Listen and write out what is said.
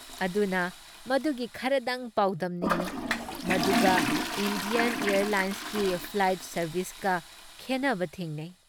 ꯑꯗꯨꯅ ꯃꯗꯨꯒꯤ ꯈꯔꯗꯪ ꯄꯥꯎꯗꯝꯅꯤꯡꯏ ꯃꯗꯨꯒ ꯏꯟꯗꯤꯌꯥꯟ ꯑꯦꯌꯔꯂꯥꯏꯟꯁꯀꯤ ꯐ꯭ꯂꯥꯏꯠ ꯁꯥꯔꯚꯤꯁꯀ ꯈꯦꯟꯅꯕ ꯊꯦꯡꯅꯩ ꯫